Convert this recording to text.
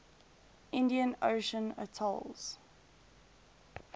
indian ocean atolls